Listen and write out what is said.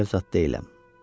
Cadiqar zad deyiləm.